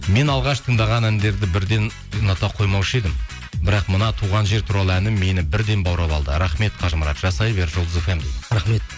мен алғаш тыңдаған әндерді бірден ұната қоймаушы едім бірақ мына туған жер туралы әні мені бірден баурап алды рахмет қажымұрат жасай бер жұлдыз фм рахмет